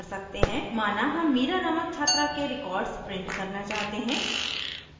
mira हम mira नामक छात्रा के records print करना चाहते है